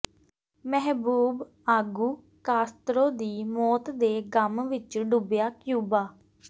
ਮਹਿਬੂਬ ਆਗੂ ਕਾਸਤਰੋ ਦੀ ਮੌਤ ਦੇ ਗ਼ਮ ਵਿੱਚ ਡੁੱਬਿਆ ਕਿਊਬਾ